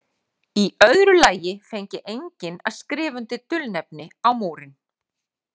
Í öðru lagi fengi enginn að skrifa undir dulnefni á Múrinn.